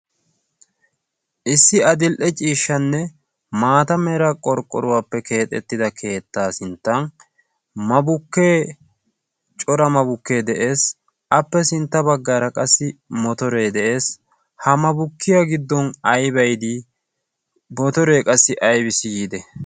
issi adil''e ciishshanne maata mera qorqqoruwaappe keexettida keettaa sinttan mabukkee cora mabukkee de'ees appe sintta baggaara qassi motoree de'ees ha mabukkiyaa giddon aybay di motoree qassi aybiss yiide